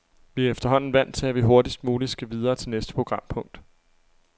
Vi er efterhånden vant til, at vi hurtigst muligt skal videre til næste programpunkt.